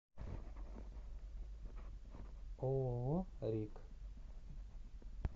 ооо рик